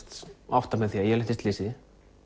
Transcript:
átta mig á því að ég hef lent í slysi